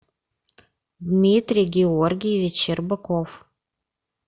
дмитрий георгиевич щербаков